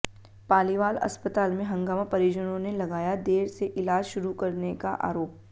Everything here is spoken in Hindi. पालीवाल अस्पताल में हंगामा परिजनों ने लगाया देर से इलाज शुरू करने का आरोप